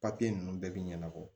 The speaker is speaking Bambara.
Papiye ninnu bɛɛ bɛ ɲɛnabɔ